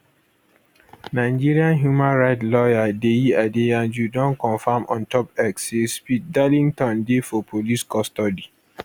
nigeria human right lawyer deyi adeyanju don confam ontop x say speed darlington dey for police custody